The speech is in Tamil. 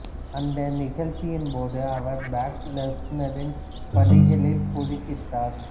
அந்த நிகழ்ச்சியின் போது அவர் ப்ரோக் லெஸ்னரின் வழிகளில் குறுக்கிட்டார்